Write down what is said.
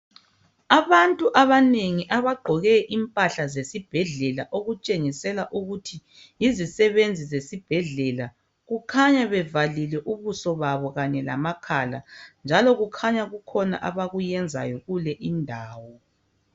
Abantu abanengi abagqoke impahla zesibhedlela okutshengisela ukuthi yizisebenzi zesibhedlela kukhanya bevalile ubuso babo kanye lamakhala njalo kukhanya kukhona abakuyenzayo kule indawo.